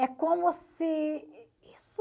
É como se isso...